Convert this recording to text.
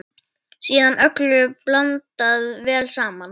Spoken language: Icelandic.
Síðan öllu blandað vel saman.